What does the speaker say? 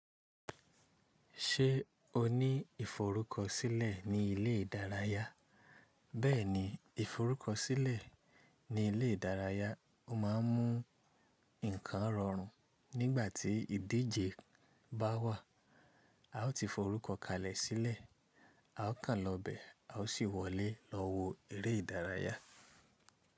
Ṣé o ní ìforúkọsílẹ̀ ní ilé ìdárayá? Bẹ́ẹ̀ni, ìforúkọsílẹ̀ ní ilé ìdárayá, o máà ń mú ǹkan rọrùn nígbà tí ìdíje bá wà. A ó ti forúkọ kalẹ̀ sílẹ̀, a ó kàn lọ bẹ̀ a ó sì wọlé lọ wo eré ìdárayá.